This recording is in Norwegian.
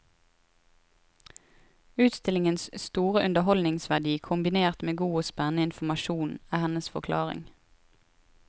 Utstillingens store underholdningsverdi kombinert med god og spennende informasjon, er hennes forklaring.